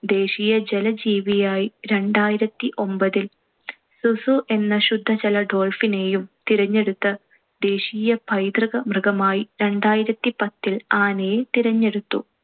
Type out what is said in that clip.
ദേശീയ ജലജീവിയായി രണ്ടായിരത്തിഒൻപതിൽ സുസു എന്ന ശുദ്ധജല dolphin നെയും തിരഞ്ഞെടുത്തു. ദേശീയ പൈതൃക മൃഗമായി രണ്ടായിരത്തിപത്തിൽ ആനയെ തിരഞ്ഞെടുത്തു.